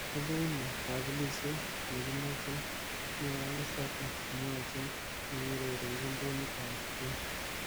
Ibu ine kebelishet nikimachei." mwae Lusaga komwachin nekiurerenchin timit ab Spain.